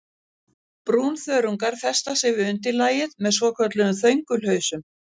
Brúnþörungar festa sig við undirlagið með svokölluðum þöngulhausum.